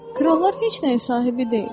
Krallar heç nəyin sahibi deyil.